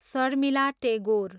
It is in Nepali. शर्मिला टेगोर